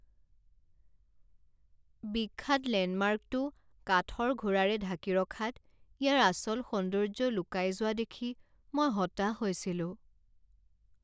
বিখ্যাত লেণ্ডমাৰ্কটো কাঠৰ ঘোঁৰাৰে ঢাকি ৰখাত ইয়াৰ আচল সৌন্দৰ্য লুকাই যোৱা দেখি মই হতাশ হৈছিলোঁ।